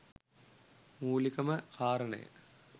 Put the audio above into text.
මුලිකම කාරණය